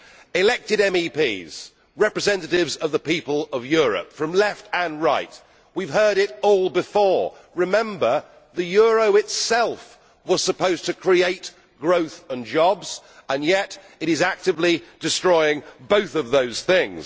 Elected MEPs, representatives of the people of Europe, from left and right, we have heard it all before. Remember the euro itself was supposed to create growth and jobs and yet it is actively destroying both of those things.